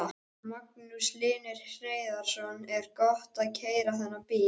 Magnús Hlynur Hreiðarsson: Er gott að keyra þennan bíl?